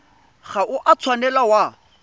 ga o a tshwanela wa